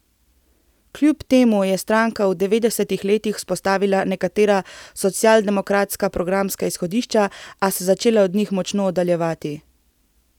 Kljub temu je stranka v devetdesetih letih vzpostavila nekatera socialdemokratska programska izhodišča, a se začela od njih močno oddaljevati.